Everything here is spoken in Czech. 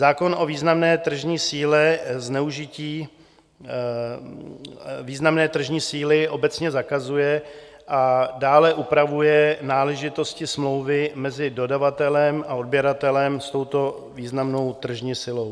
Zákon o významné tržní síle zneužití významné tržní síly obecně zakazuje a dále upravuje náležitosti smlouvy mezi dodavatelem a odběratelem s touto významnou tržní silou.